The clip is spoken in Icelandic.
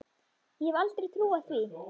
Ég hefði aldrei trúað því.